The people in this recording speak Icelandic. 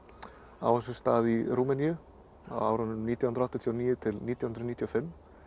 á sér stað í Rúmeníu á árunum nítján hundruð áttatíu og níu til nítján hundruð níutíu og fimm